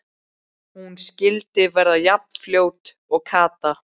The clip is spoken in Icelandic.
Hún skyldi verða jafn fljót og Kata!